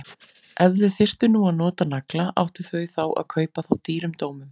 Ef þau þyrftu nú að nota nagla, áttu þau þá að kaupa þá dýrum dómum?